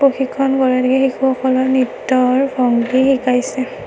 প্ৰশিক্ষক গৰাকীয়ে শিশুসকলক নৃত্যৰ ভংগী শিকাইছে।